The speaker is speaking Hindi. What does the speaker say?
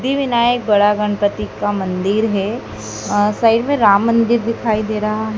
दी विनायक बड़ा गणपति का मंदिर है अं साइड में राम मंदिर दिखाई दे रहा है।